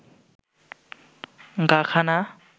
গা খানা